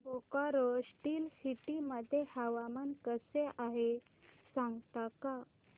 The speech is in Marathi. बोकारो स्टील सिटी मध्ये हवामान कसे आहे सांगता का